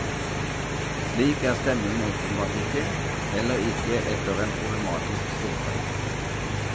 Slik er stemningen åpenbart ikke, heller ikke etter en problematisk storstreik.